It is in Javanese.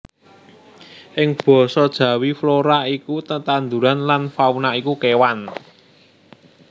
Ing basa Jawi flora iku tetandhuran lan fauna iku kewan